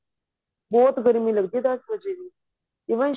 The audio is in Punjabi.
ਬਹੁਤ ਗਰਮੀ ਲਗਦੀ ਐ ਦਸ ਵਜੇ ਵੀ even